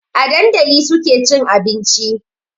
A dandali suke cin abinci